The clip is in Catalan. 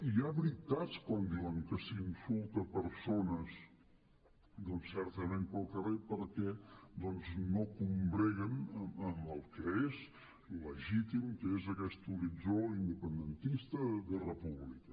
i hi ha veritats quan diuen que s’insulta persones doncs certament perquè no combreguen amb el que és legítim que és aquest horitzó independentista de república